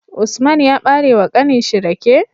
Usman ya bare wa kanin shi rake